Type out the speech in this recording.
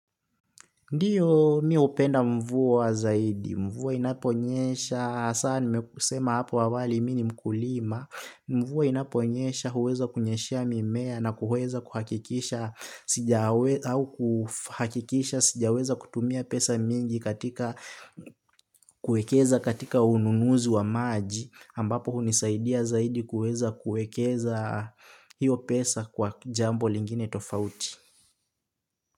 Ndio mi hupenda mvua zaidi, mvua inaponyesha, saa nimekusema apo awali mi ni mkulima, mvua inaponyesha huweza kunyeshea mimea na kuweza kuhakikisha au kuhakikisha sijaweza kutumia pesa mingi katika kuekeza katika ununuzi wa maji ambapo hunisaidia zaidi kuweza kuekeza hiyo pesa kwa jambo lingine tofauti.